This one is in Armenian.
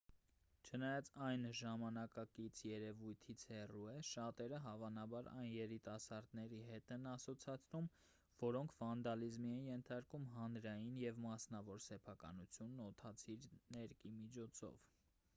չնայած այն ժամանակակից երևույթից հեռու է շատերը հավանաբար այն երիտասարդների հետ են ասոցացնում որոնք վանդալիզմի են ենթարկում հանրային և մասնավոր սեփականությունն օդացիր ներկի միջոցով